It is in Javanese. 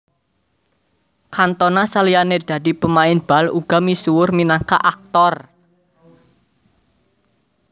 Cantona saliyane dadi pemain bal uga misuwur minangka aktor